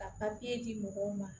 Ka papiye di mɔgɔw ma